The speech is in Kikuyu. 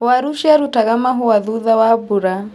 Waru ciaruta mahũa thutha wa mbura.